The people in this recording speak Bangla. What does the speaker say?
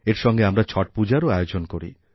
এর সঙ্গে আমরা ছট পূজার আয়োজনও করি